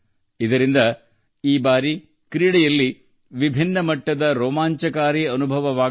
ಇದರಿಂದ ಈ ಬಾರಿ ನಾವು ಕ್ರೀಡೆಯಲ್ಲಿ ವಿಭಿನ್ನ ಮಟ್ಟದ ಉತ್ಸಾಹ ನೋಡುತ್ತೇವೆ